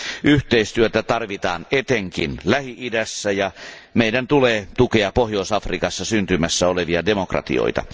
Yhteistyötä tarvitaan etenkin Lähi idässä, ja meidän tulee tukea Pohjois Afrikassa syntymässä olevia demokratioita.